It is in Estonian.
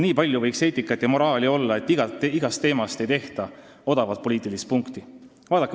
Nii palju võiks eetikat ja moraali olla, et igast teemast ei tehtaks odavat poliitikat.